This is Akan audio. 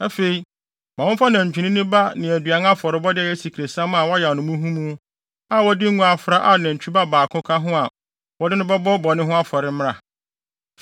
Afei, ma wɔmfa nantwinini ba ne aduan afɔrebɔde a ɛyɛ asikresiam a wɔayam no muhumuhu a wɔde ngo afra a nantwinini ba baako ka ho a wɔde no bɛbɔ bɔne ho afɔre mmra.